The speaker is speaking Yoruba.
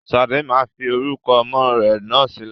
Sade máa fi orúkọ ọmọ rẹ náà sílẹ̀